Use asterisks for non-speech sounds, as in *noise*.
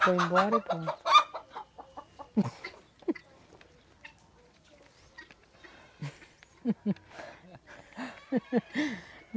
Foi embora e pronto. *laughs* *laughs*